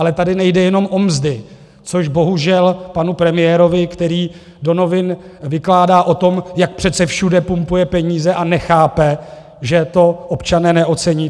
Ale tady nejde jenom o mzdy, což bohužel panu premiérovi, který do novin vykládá o tom, jak přece všude pumpuje peníze, a nechápe, že to občané neocení.